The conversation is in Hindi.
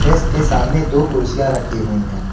डेस्क के सामने दो कुर्सियां रखी हुई है।